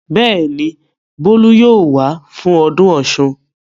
Bẹ́ẹ̀ ni, Bólú yóò wá fún ọdún Ọ̀ṣun.